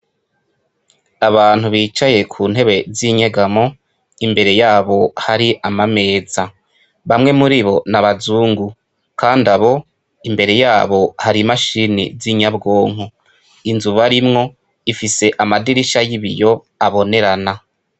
Abantu bicaye ku ntebe z' inyegamo imbere yabo hakaba hari amameza. Bamwe murino n' abazungu kandi abo imbere yabo, hakaba hari imashini z' inyabwonko. Inzu barimwo, ifise amadirisha y' ibiyo abonerana.